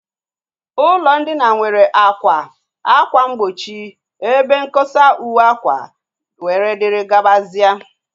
Ụlọ ndina nwere àkwà, ákwà mgbochi, ebe nkosa uwe akwa, and others